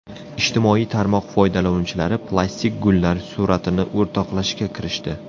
Ijtimoiy tarmoq foydalanuvchilari plastik gullar suratini o‘rtoqlashga kirishdi.